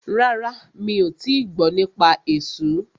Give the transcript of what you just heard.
Rárá, mi ò tíì gbọ́ nípa esú.